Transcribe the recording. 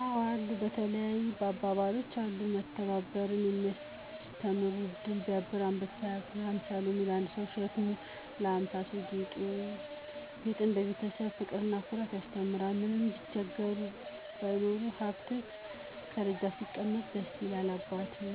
አዎ አሉ። በተለይ አባባሎች ናቸው። መተባበርን የሚያስተምሩ ድር ቢያብር አንበሣ ያስር። ሀምሣ ሎሚ ለአንድ ሠው ሸክም ነው ለሀምሣ ሠው ጌጡ ነው። ግጥም፦ የቤተሠብ ፍቅርና ኩራት ያስተምራል። ምንም ቢቸግረው ባይኖረውም ሀብት፤ ከደጃፍ ሲቀመጥ ደስ ይላል አባት።